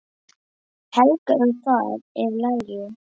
Helga, um hvað er lagið?